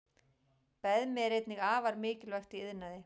Beðmi er einnig afar mikilvægt í iðnaði.